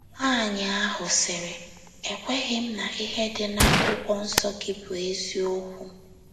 Nwaanyị ahụ sịrị: “ Ekweghị m na ihe dị n'akwụkwọnsọ gị bụ eziokwu.